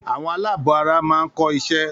Àwọn aláàbọ̀ara máa ń kọ́ isẹ́